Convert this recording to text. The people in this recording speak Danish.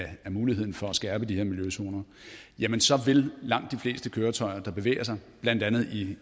muligheden for at skærpe de her miljøzoner jamen så vil langt de fleste køretøjer der bevæger sig i blandt andet de